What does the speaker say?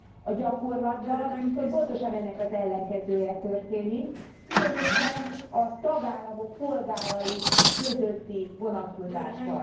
A gyakorlatban viszont pontosan ennek az ellenkezője történik, különösen a tagállamok polgárai közötti vonatkozásban.